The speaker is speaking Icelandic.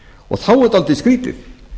og þá er dálítið skrýtið